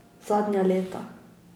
Zadnja leta.